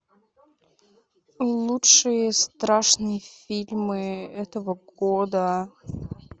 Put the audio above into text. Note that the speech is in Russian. лучшие страшные фильмы этого года